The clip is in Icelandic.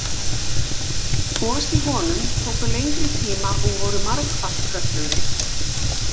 Gos í honum tóku lengri tíma og voru margfalt kröftugri.